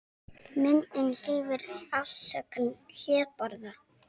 Myndin sýnir afrískan hlébarða.